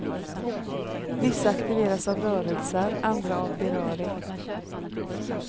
Vissa aktiveras av rörelser, andra av beröring.